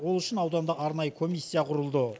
ол үшін ауданда арнайы комиссия құрылды